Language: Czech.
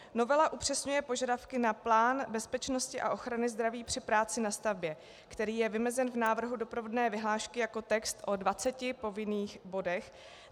Novela upřesňuje požadavky na plán bezpečnosti a ochrany zdraví při práci na stavbě, který je vymezen v návrhu doprovodné vyhlášky jako text o 20 povinných bodech.